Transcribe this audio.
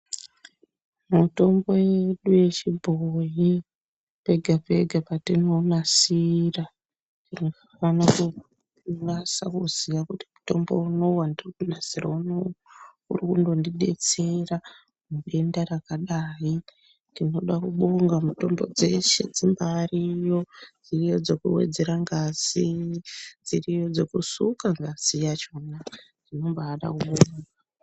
Mutombo yedu yechibhoyi pega pega patinounasira, unonasa kuziya kuti mutombo unowu wandiri kunasira unowu, uri kundondidetsera denda rakadai. Tinoda kubonga mitombo dzeshe dzimbariyo, dziriyo dzekuwedzera ngazi. Dziriyo dzekusuka ngazi yachona, tinombada kubonga.